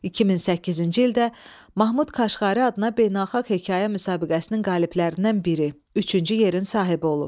2008-ci ildə Mahmud Kaşqari adına beynəlxalq hekayə müsabiqəsinin qaliblərindən biri, üçüncü yerin sahibi olub.